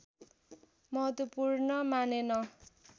महत्त्वपूर्ण मानेन